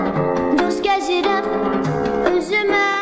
Dost gəzirəm özümə.